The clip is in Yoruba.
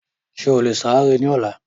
Ṣé o lè ìsàrẹ́ ní ọlá?